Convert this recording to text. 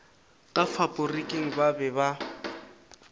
ka faporiking ba be ba